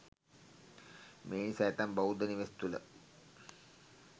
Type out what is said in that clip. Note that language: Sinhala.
මේ නිසා ඇතැම් බෞද්ධ නිවෙස් තුළ